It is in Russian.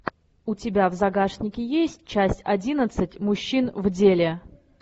у тебя в загашнике есть часть одиннадцать мужчин в деле